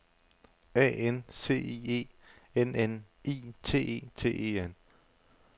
A N C I E N N I T E T E N